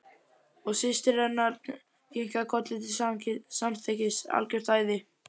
Og systir hennar kinkaði kolli til samþykkis: Algjört æði.